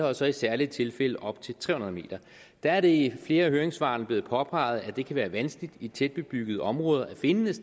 og så i særlige tilfælde op til tre hundrede m der er det i flere af høringssvarene blevet påpeget at det kan være vanskeligt i tætbebyggede områder at finde et